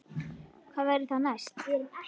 Hvað verður það næst?